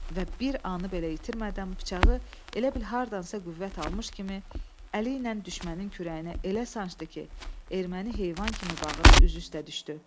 Və bir anı belə itirmədən bıçağı elə bil hardansa qüvvət almış kimi əli ilə düşməninin kürəyinə elə sancdı ki, erməni heyvan kimi bağırıb üzü üstə düşdü.